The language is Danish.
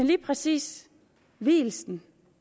lige præcis vielsen